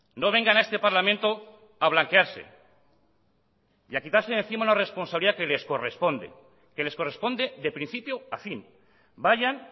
no vengan a este parlamento a blanquearse y a quitarse de encima una responsabilidad que les corresponde que les corresponde de principio a fin vayan